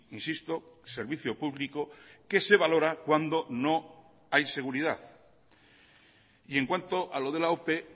insisto servicio público que se valora cuando no hay seguridad y en cuanto a lo de la ope